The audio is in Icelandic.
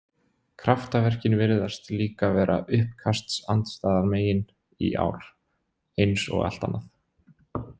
Kraftaverkin virðast líka vera uppkastsandstæðingamegin í ár, eins og allt annað.